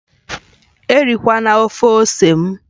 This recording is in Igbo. Erikwala ofe ose m!